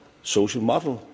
social model.